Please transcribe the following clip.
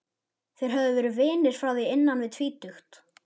Þeir höfðu verið vinir frá því innan við tvítugt.